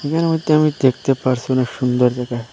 এহানে মইদ্যে আমি দেখতে পারসি অনেক সুন্দর জায়গা।